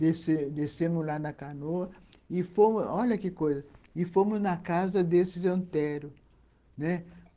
Descemos descemos lá na canoa e fomos, olha que coisa, e fomos na casa desses Anteros, né. .